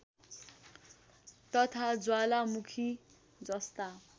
तथा ज्वालामुखी जस्ता